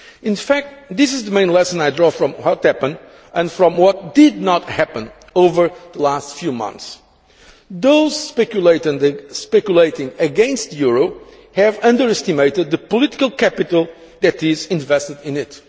In fact, this is the main lesson I draw from what happened and from what did not happen over the last few months those speculating against the euro have underestimated the political capital that is invested in it.